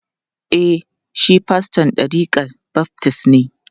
E, shi faston ɗarikar baftis ne.